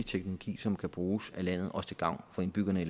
teknologi som kan bruges af landet også til gavn for indbyggerne i